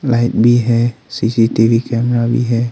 Light भी है C C T V camera भी है।